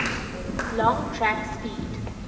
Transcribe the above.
long track speed